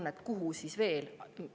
Kuhu siis veel?